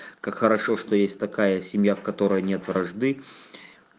как хорошо что есть такая семья в которой нет вражды